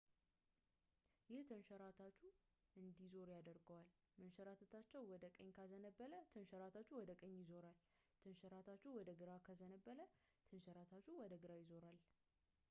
ይህ ተንሸራታቹ እንዲዞር ያደርገዋል መንሸራተቻው ወደ ቀኝ ካዘነበለ ተንሸራታቹ ወደ ቀኝ ይዞራል ተንሸራታቹ ወደ ግራ ካዘነበለ ተንሸራታቹ ወደ ግራ ይዞራል